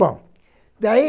Bom, daí...